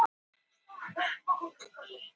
þess vegna væri hætta á að þeir yrðu handteknir